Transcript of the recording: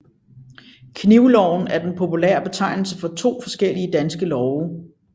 Knivloven er den populære betegnelse for to forskellige danske love